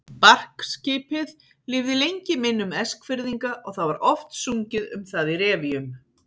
Barkskipið lifði lengi í minnum Eskfirðinga og það var oft sungið um það í revíum.